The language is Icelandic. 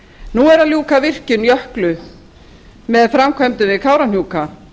nú er að ljúka virkjun jöklu með framkvæmdum við kárahnjúka